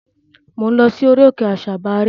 Mò ń lọ sí orí òkè àsabàrí.